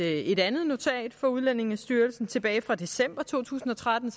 et andet notat fra udlændingestyrelsen tilbage fra december to tusind og tretten